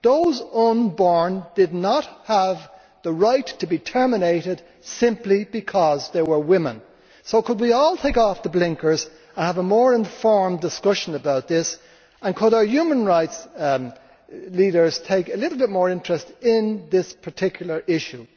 Those unborn did not have the right to be terminated simply because they were women. So could we all take off the blinkers and have a more informed discussion about this and could our human rights leaders take a little more interest in this particular issue?